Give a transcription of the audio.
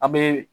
An bɛ